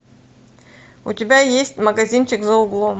у тебя есть магазинчик за углом